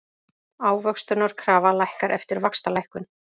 Ávöxtunarkrafa lækkar eftir vaxtalækkun